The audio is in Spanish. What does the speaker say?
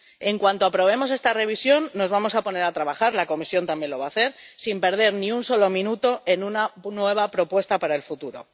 En cuanto aprobemos esta revisión, nos vamos a poner a trabajar —la Comisión también lo va a hacer—, sin perder ni un solo minuto, en una nueva propuesta para el futuro.